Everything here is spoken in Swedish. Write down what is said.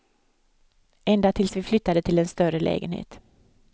Ända tills vi flyttade till en större lägenhet.